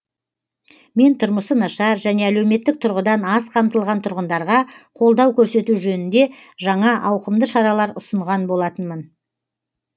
мен тұрмысы нашар және әлеуметтік тұрғыдан аз қамтылған тұрғындарға қолдау көрсету жөнінде жаңа ауқымды шаралар ұсынған болатынмын